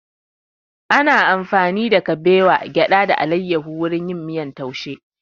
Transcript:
Ana amfani da kabewa, gyada da alayahu wurin yin miyan taushe